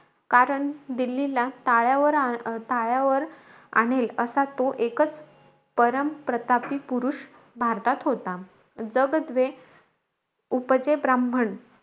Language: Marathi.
कारण दिल्लीला, ताळ्या ताळ्यावर आणेल, असा तो एकचं, परमप्रतापी पुरुष भारतात होता. जग द्वे उपजे ब्राम्हण,